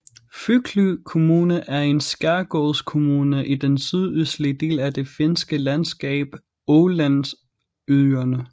Föglö Kommune er en skærgårdskommune i den sydøstlige del af det finske landskab Ålandsøerne